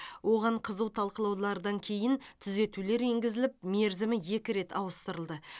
оған қызу талқылаулардан кейін түзетулер енгізіліп мерзімі екі рет ауыстырылды